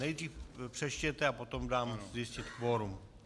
Nejdřív přečtěte, a potom dám zjistit kvorum.